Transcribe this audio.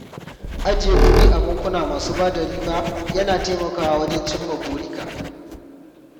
Ajiye kuɗi a bankuna masu bada riba ya na taimakawa wajen cimma burika.